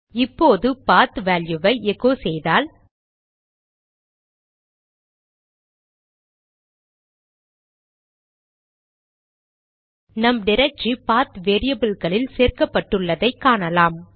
இப்போது பாத் வேல்யுவை எகோ செய்தால் நம் டிரக்டரி பாத் வேரியபில்களில் சேர்க்கப்பட்டுள்ளதை காணலாம்